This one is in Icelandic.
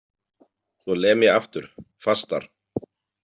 Svo lem ég aftur, fastar.